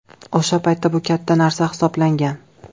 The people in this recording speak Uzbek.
O‘sha paytda bu katta narsa hisoblangan.